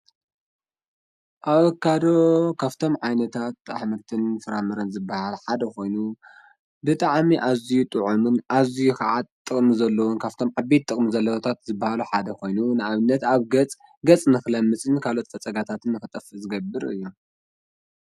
ኣበካዶ ካፍቶም ዓይነታት ኣኅምርትን ፍራምረን ዘበሃል ሓደ ኾይኑ ብጠዓሚ ኣዙይ ጥዖምን ኣዙይ ኸዓት ጥቕሚ ዘለዉን ካብቶም ዓቢት ጥቕሚ ዘለወታት ዝበሃሉ ሓደ ኾይኑ ንኣብነት ኣብ ገጽ ገጽ ንኽለምጽኒ ካልት ፈጸጋታትን ኽጠፍ ዝገብር እዩ።